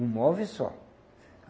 Um móvel só.